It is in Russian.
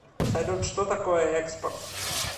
салют что такое экспорт